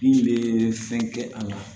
Bin bɛ fɛn kɛ a la